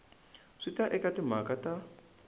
swi ta eka timhaka ta